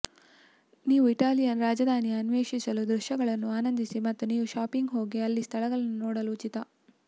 ನೀವು ಇಟಾಲಿಯನ್ ರಾಜಧಾನಿಯ ಅನ್ವೇಷಿಸಲು ದೃಶ್ಯಗಳನ್ನು ಆನಂದಿಸಿ ಮತ್ತು ನೀವು ಶಾಪಿಂಗ್ ಹೋಗಿ ಅಲ್ಲಿ ಸ್ಥಳಗಳನ್ನು ನೋಡಲು ಉಚಿತ